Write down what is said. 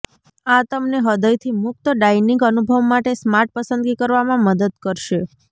આ તમને હૃદયથી મુક્ત ડાઇનિંગ અનુભવ માટે સ્માર્ટ પસંદગી કરવામાં મદદ કરશે